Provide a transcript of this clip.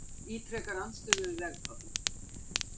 Ítrekar andstöðu við vegatolla